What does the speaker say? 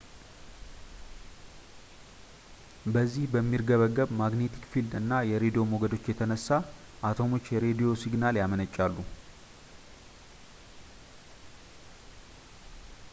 በዚህ በሚርገበገብ ማግኔቲክ ፊልድ እና የሬድዎ ሞገዶች የተነሳ አተሞች የሬድዎ ሲግናል ያመነጫሉ